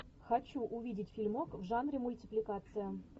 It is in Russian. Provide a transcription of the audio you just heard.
хочу увидеть фильмок в жанре мультипликация